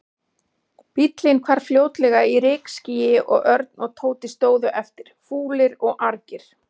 Bíllinn hvarf fljótlega í rykskýi og Örn og Tóti stóðu eftir, fúlir og argir.